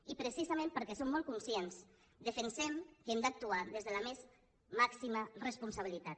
i precisament perquè en som molt conscients defensem que hem d’actuar des de la màxima responsabilitat